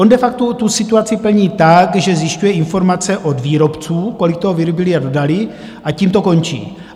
On de facto tu situaci plní tak, že zjišťuje informace od výrobců, kolik toho vyrobili a dodali, a tím to končí.